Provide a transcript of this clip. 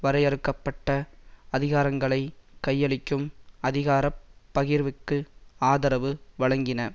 வரையறுக்க பட்ட அதிகாரங்களை கையளிக்கும் அதிகார பகிர்வுக்கு ஆதரவு வழங்கின